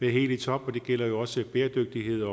er helt i top og det gælder jo også bæredygtighed